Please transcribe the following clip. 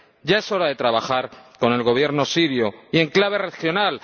Ya es hora de trabajar con el Gobierno sirio y en clave regional.